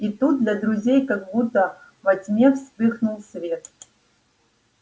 и тут для друзей как будто во тьме вспыхнул свет